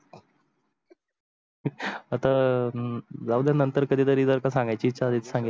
आता राहू दया नंतर कधी तरी जर सांगायची इच्छा झाली नंतर सांगेल